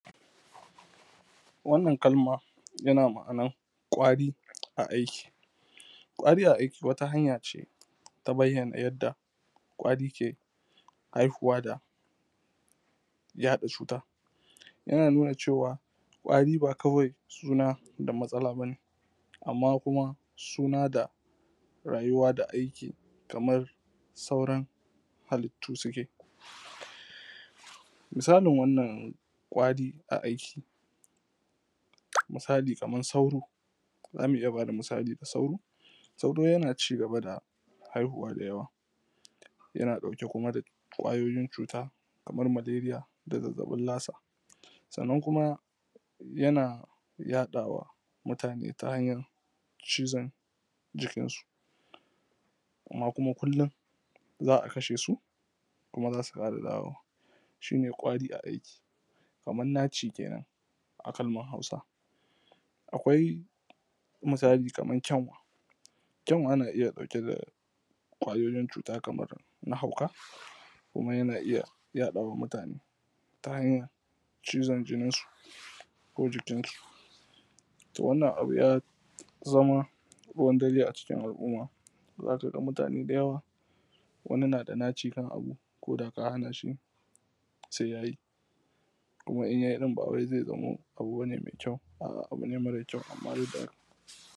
wannan kalma yana ma’anan ƙwari a aiki ƙwari a aiki wata hanya ce ta bayyana yadda kwari ke haihuwa da yaɗa cuta yana nuna cewa ƙwari ba kawai suna da matsala ba ne ammaƙn kuma suna da rayuwa da aiki kaman sauran halittu su ke misalin wannan ƙwari a aiki misali kaman sauro za mu iya ba da misali da sauro sauro yana cigaba da haihuwa da yawa yana kuma da ɗauke da ƙwayoyin cuta kaman maleriya da zazzaɓin lasa sannan kuma yana yaɗa wa mutane ta hanyan cizon jikinsu amman kuma kullum za a kashe su kuma za su ƙara dawowa shi ne ƙwari a aiki kaman naci kenan a kalman hausa akwai misali kaman kyanwa kyanwa na iya ɗauke da ƙwayoyin cuta kaman na hauka kuma yana iya yaɗa ma mutane ta hanyan cizon jininsu ko jikinsu to wannan abu ya zama ruwan dare a cikin al’umma za ka ga mutane da yawa wani na da naci kan abu ko da ka hana shi se ya yi kuma in ya yi ɗin ba zai zamo abu bane mai kyau a abu ne mara kyau amman da